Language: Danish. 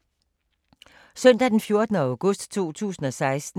Søndag d. 14. august 2016